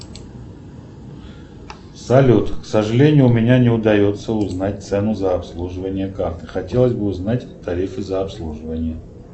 салют к сожалению у меня не удается узнать цену за обслуживание карты хотелось бы узнать тарифы за обслуживание